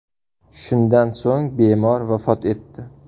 Shundan so‘ng bemor vafot etdi.